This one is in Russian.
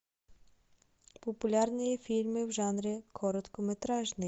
популярные фильмы в жанре короткометражный